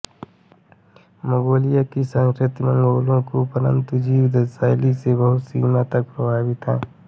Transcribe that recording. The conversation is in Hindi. मंगोलिया की संस्कृति मंगोलों के घुमन्तू जीवनशैली से बहुत सीमा तक प्रभावित है